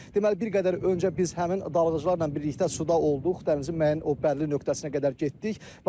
Deməli, bir qədər öncə biz həmin dalğıcılarla birlikdə suda olduq, dənizin müəyyən o bəlli nöqtəsinə qədər getdik.